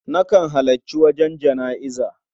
Nakan halarci wajen jana'iza.